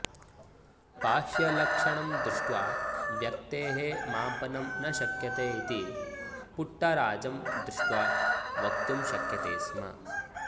बाह्यलक्षणं दृष्ट्वा व्यक्तेः मापनं न शक्यते इति पुट्टराजं दृष्ट्वा वक्तुं शक्यते स्म